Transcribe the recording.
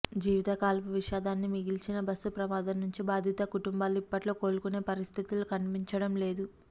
జీవితకాలపు విషాదాన్ని మిగిల్చిన బస్సుప్రమాదం నుంచి బాధిత కుటుంబాలు ఇప్పట్లో కోలుకునే పరిస్థితులు కనిపించడంలేదు